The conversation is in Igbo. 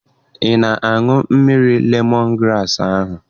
Ị na-aṅụ mmiri lemọn graasị ahụ?